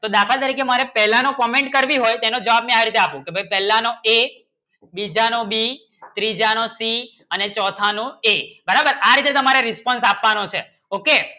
તો દાખલ તરીકે મારો પહેલાનું Comment કરવી હોય તેનું જવાબ ને આ રીતે આપો પહેલાનું A બીજા નું B ત્રીજા નું C અને ચૌથા નું A બરાબર આ રીતે તમારે રિસ્પોન્સ આપવાના છે Okay